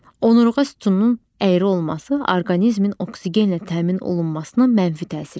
Onurğa sütununun əyri olması orqanizmin oksigenlə təmin olunmasına mənfi təsir eləyir.